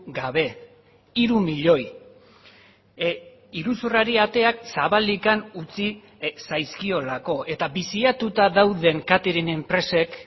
gabe hiru milioi iruzurrari ateak zabalik utzi zaizkiolako eta biziatuta dauden katering enpresek